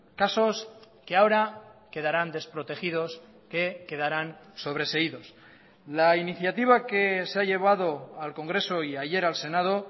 casos que ahora quedarán desprotegidos que quedaran sobreseídos la iniciativa que se ha llevado al congreso y ayer al senado